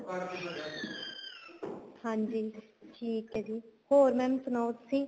ਹਾਂਜੀ ਠੀਕ ਏ ਜੀ ਹੋਰ mam ਸੁਣਾਉ ਤੁਸੀਂ